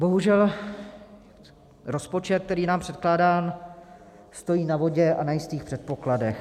Bohužel rozpočet, který je nám předkládán, stojí na vodě a nejistých předpokladech.